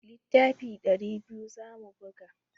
Littafi ɗari biyu za mu buga.